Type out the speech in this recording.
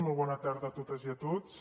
molt bona tarda a totes i a tots